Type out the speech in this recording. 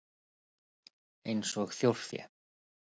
Eins og þjórfé?